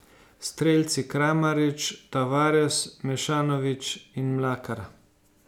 Strelci Kramarič, Tavares, Mešanović in Mlakar.